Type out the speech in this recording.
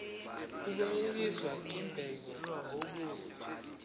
kubuyiswa igebe ngokubuza